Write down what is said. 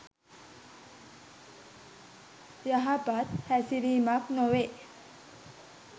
යහපත් හැසිරීමක් නොවේ.